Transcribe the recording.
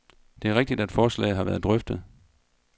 Det er rigtigt, at forslaget har været drøftet.